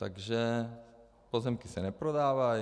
Takže pozemky se neprodávají.